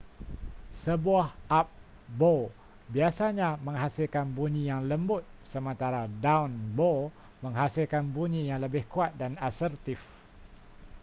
sebuah up bow biasanya menghasilkan bunyi yang lembut sementara down-bow menghasilkan bunyi yang lebih kuat dan asertif